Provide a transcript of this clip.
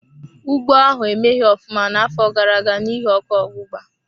Ugbo ahụ emeghi ofụma n'afọ gara-aga n'ihi ọkụ ogbugba.